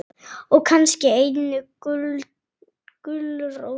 Og kannski eina gulrót.